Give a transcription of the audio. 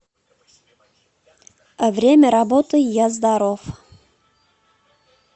время работы я здоров